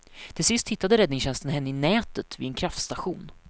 Till sist hittade räddningstjänsten henne i nätet vid en kraftstation.